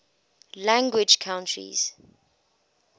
language countries